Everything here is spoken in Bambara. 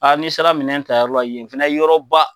Aa ni sera minɛn ta yɔrɔ la ye fɛnɛ ye yɔrɔba.